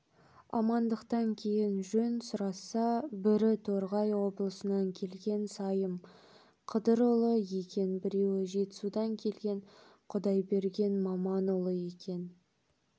амандықтан кейін жөн сұрасса бірі торғай облысынан келген сайым қыдырұлы екен біреуі жетісудан келген құдайберген маманұлы екен